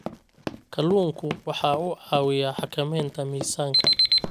Kalluunku waxa uu caawiyaa xakamaynta miisaanka.